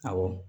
Awɔ